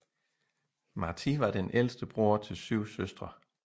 Martí var den ældste bror til syv søstre